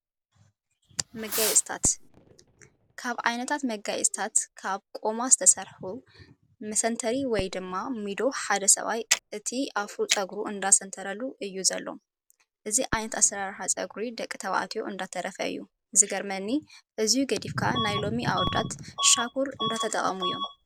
መጋየፂታት፦ ካብ ዓይነታት መጋየፅታት ካብ ቆማ ዝተሰርሐ መሰተሪ ወይ ድማ ሚዶ ሓደ ሰብኣይ እቲ ኣፍሮ ፀጉሩ እነዳሰንተረሉ እዩ ዘሎ። እዚ ዓይነት ኣሰራርሓ ፀጉረ ደቂ ተባዕትዮ እንዳተረፈ እዩ። ዝገርመኒ! እዙይ ገዲፍካ ናይ ሎሚ ኣወዳት ሻኩር እንዳተጠቀሙ እዮም።